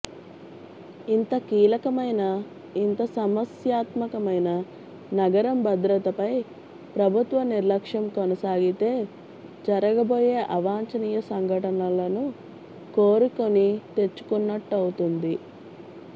ఇంత కీలకమైన ఇంత సమస్యాత్మ కమైన నగరం భద్రతపై ప్రభుత్వ నిర్లక్ష్యంకొనసాగితే జరగబోయే అవాంఛనీయ సంఘటనలను కోరి కొని తెచ్చుకున్నట్టవ్ఞతుంది